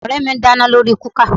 Ọ̀rẹ́ mi ń dáná lórí kúkà